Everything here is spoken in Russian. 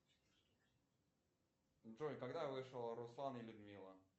джой когда вышел руслан и людмила